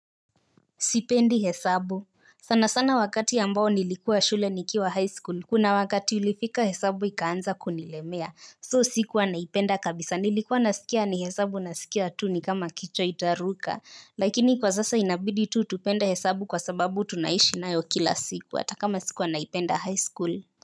Sipendi hesabu. Sana sana wakati ambao nilikuwa shule nikiwa high school. Kuna wakati ulifika hesabu ikaanza kunilemea. So sikuwa naipenda kabisa. Nilikuwa nasikia ni hesabu nasikia tu ni kama kichwa itaruka. Lakini kwa sasa inabidi tu tupenda hesabu kwa sababu tunaishi nayo kila siku. Hata kama sikuwa naipenda high school.